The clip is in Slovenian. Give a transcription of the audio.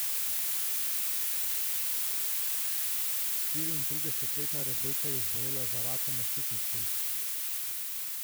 Štiriintridesetletna Rebeka je zbolela za rakom na ščitnici.